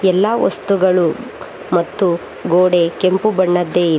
ಎಲ್ಲಾ ವಸ್ತುಗಳು ಮತ್ತು ಗೋಡೆ ಕೆಂಪು ಬಣ್ಣದ್ದೆ--